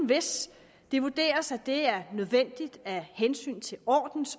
hvis det vurderes at det er nødvendigt